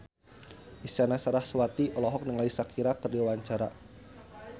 Isyana Sarasvati olohok ningali Shakira keur diwawancara